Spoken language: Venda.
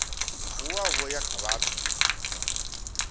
vuwa vho ya kha vhathu